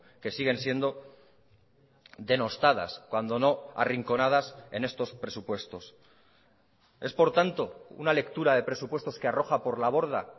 que siguen siendo denostadas cuando no arrinconadas en estos presupuestos es por tanto una lectura de presupuestos que arroja por la borda